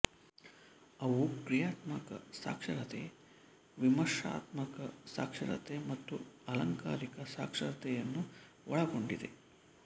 ಅವು ಕ್ರಿಯಾತ್ಮಕ ಸಾಕ್ಷರತೆ ವಿಮರ್ಶಾತ್ಮಕ ಸಾಕ್ಷರತೆ ಮತ್ತು ಅಲಂಕಾರಿಕ ಸಾಕ್ಷರತೆಯನ್ನು ಒಳಗೊಂಡಿದೆ